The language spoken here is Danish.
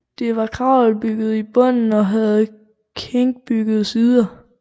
Det var kravelbygget i bunden og havde klinkbyggede sider